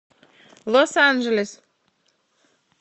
лос анджелес